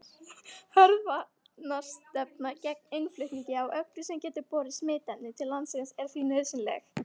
Hörð varnarstefna gegn innflutningi á öllu sem gæti borið smitefni til landsins er því nauðsynleg.